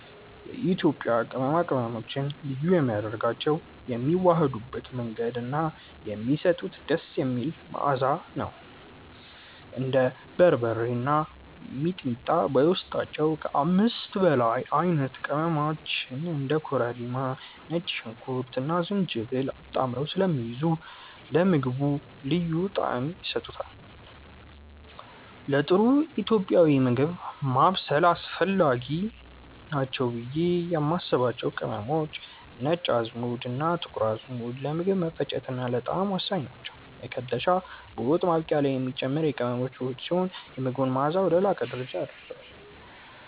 የኢትዮጵያ ቅመማ ቅመሞችን ልዩ የሚያደርጋቸው የሚዋሃዱበት መንገድ እና የሚሰጡት ደስ የሚል መዓዛ ነው። እንደ በርበሬ እና ሚጥሚጣ በውስጣቸው ከ5 በላይ አይነት ቅመሞችን (እንደ ኮረሪማ፣ ነጭ ሽንኩርትና ዝንጅብል) አጣምረው ስለሚይዙ ለምግቡ ልዩ ጣዕም ይሰጡታል። ለጥሩ ኢትዮጵያዊ ምግብ ማብሰል አስፈላጊ ናቸው ብዬ የማስባቸው ቅመሞች፦ ነጭ አዝሙድና ጥቁር አዝሙድ፦ ለምግብ መፈጨትና ለጣዕም ወሳኝ ናቸው። መከለሻ፦ በወጥ ማብቂያ ላይ የሚጨመር የቅመሞች ውህድ ሲሆን፣ የምግቡን መዓዛ ወደ ላቀ ደረጃ ያደርሰዋል።